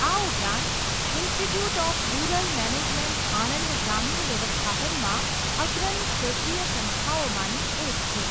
આ ઉપરાંત, institute of rural management Anand ગ્રામીણ વ્યવસ્થાપનમાં અગ્રણી ક્ષેત્રીય સંસ્થાઓમાંની એક છે.